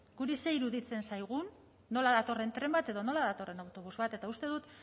guri zer iruditzen zaigun nola datorren tren bat edo nola datorren autobus bat eta uste dut